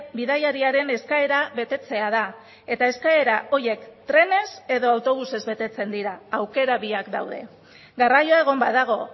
bidaiariaren eskaera betetzea da eta eskaera horiek trenez edo autobusez betetzen dira aukera biak daude garraioa egon badago